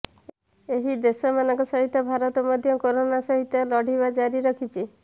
ଏହି ଦେଶମାନଙ୍କ ସହିତ ଭାରତ ମଧ୍ୟ କରୋନା ସହିତ ଲଢ଼ିବା ଜାରି ରଖିଛି